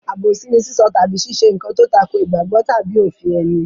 Àbòsí ni sísọ tàbí ṣíṣe nǹkan tó tako ìgbàgbọ́ tàbí òfin ẹni.